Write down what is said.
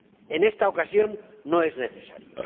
En esta ocasión no es necesario.